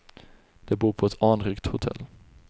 De bor på ett anrikt hotell.